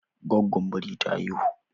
Gwaggon biri ta haihu